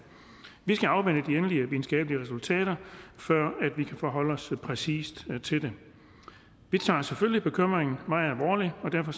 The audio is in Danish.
vi skal afvente de endelige videnskabelige resultater før vi kan forholde os præcist til det vi tager selvfølgelig bekymringen meget alvorligt og derfor